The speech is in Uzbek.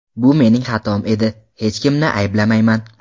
Bu mening xatom edi, hech kimni ayblamayman.